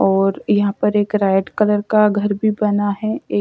और यहां पर एक रेड कलर का घर भी बना है ए--